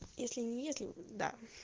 если не если да